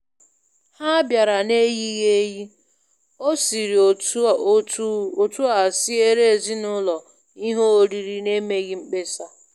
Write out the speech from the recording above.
Ha bịara n'eyighị eyi, o siri otu a siere ezinaụlọ ihe oriri n'emeghị mkpesa.